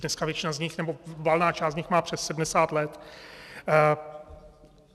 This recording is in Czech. Dneska většina z nich, nebo valná část z nich má přes 70 let.